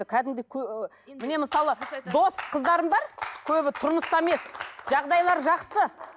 кәдімгідей міне мысалы дос қыздарым бар көбі тұрмыста емес жағдайлары жақсы